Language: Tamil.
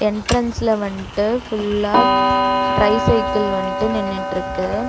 என்ட்ரன்ஸ்ல வந்ட்டு ஃபுல்லா ட்ரை சைக்கிள் வந்ட்டு நின்னுட்ருக்கு.